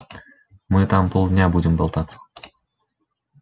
мы там полдня будем болтаться